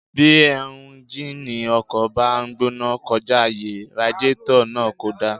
Bí éúnjínì ọkọ̀ bá ń gbóná kọjá àyè, radiétọ̀ náà kò dáa